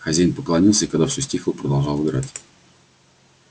хозяин поклонился и когда всё стихло продолжал играть